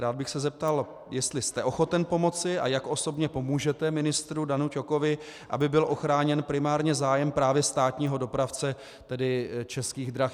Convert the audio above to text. Rád bych se zeptal, jestli jste ochoten pomoci a jak osobně pomůžete ministru Danu Ťokovi, aby byl ochráněn primárně zájem právě státního dopravce, tedy Českých drah.